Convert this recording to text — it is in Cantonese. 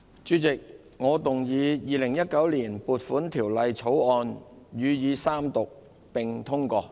主席，我動議《2019年撥款條例草案》予以三讀並通過。